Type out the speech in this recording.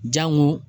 Jango